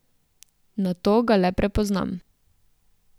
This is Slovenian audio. Nato ga le prepoznam.